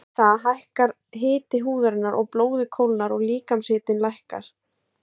Við það hækkar hiti húðarinnar og blóðið kólnar og líkamshitinn lækkar.